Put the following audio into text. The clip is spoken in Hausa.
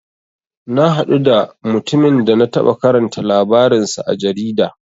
Na haɗu da mutumin da na taɓa karanta labarin sa a jarida.